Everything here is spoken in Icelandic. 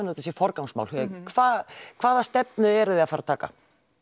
þetta sé forgangsmál hjá ykkur hvaða hvaða stefnu eruð þið að fara taka